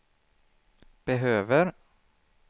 behöver